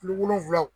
Kilo wolonwulaw